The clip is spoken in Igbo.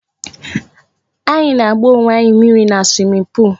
Anyị na-agba owe anyị mmírí na swimming pool